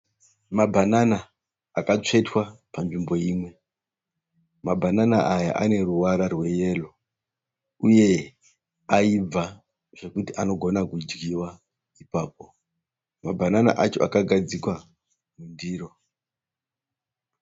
Mabhanana akatsvetwa panzvimbo imwe. Mabhanana aya ane ruvara rweyero uye ayibva zvekuti anogona kudyiwa ipapo. Mabhanana acho akagadzikwa mundiro.